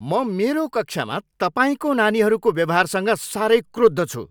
म मेरो कक्षामा तपाईँको नानीहरूको व्यवहारसँग साह्रै क्रुद्ध छु!